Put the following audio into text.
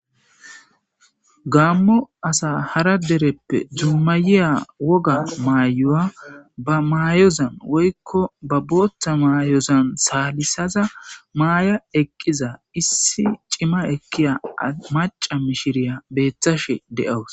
gaammo asa hara dereppe dummayiya woga maayoya ba maayozan woykko ba booththa maayozan saalisaza maaya eqqiza issi cima ekkiya maca mishiriya beethashe de7awus